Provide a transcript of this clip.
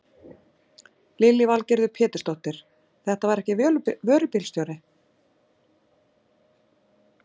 Lillý Valgerður Pétursdóttir: Þetta var ekki vörubílstjóri?